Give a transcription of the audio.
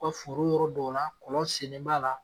U ka foro yɔrɔ dɔ la kɔlɔn sennen b'a la